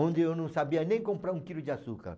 Onde eu não sabia nem comprar um quilo de açúcar.